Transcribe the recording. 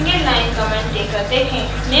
single line comment देकर देखें